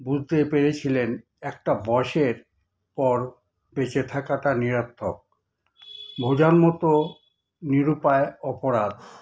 বুঝতে পেরেছিলেন একটা বয়সের পর বেঁচে থাকাটা নিরার্থক, বোঝার মতো নিরুপায় অপরাধ।